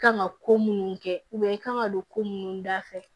Kan ka ko munnu kɛ kan ka don ko munnu dafɛ